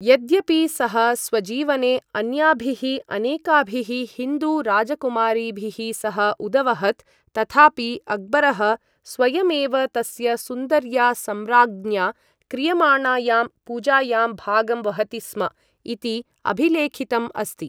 यद्यपि सः स्वजीवने अन्याभिः अनेकाभिः हिन्दू राजकुमारीभिः सह उदवहत्, तथापि अक्बरः स्वयमेव तस्य सुन्दर्या सम्राज्ञ्या क्रियमाणायां पूजायां भागम् वहति स्म इति अभिलेखितम् अस्ति।